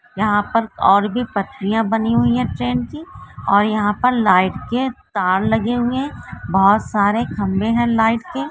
यहा पर और भी पटरिया बनी हुई है ट्रेन की और यहा पर लाइट के तार लगे हुए है बहूत सारे खंबे है लाइट के।